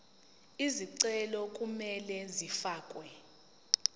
izicelo kumele zifakelwe